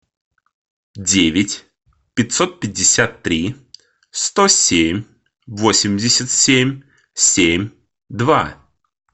девять пятьсот пятьдесят три сто семь восемьдесят семь семь два